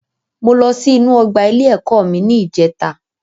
Mo lọ sí inú ọgbà ilé ẹ̀kọ́ mi ní ìjèta